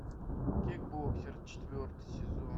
кикбоксер четвертый сезон